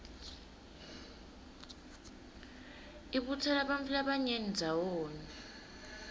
ibutsela bantfu labanyeni ndzawonye